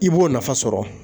I b'o nafa sɔrɔ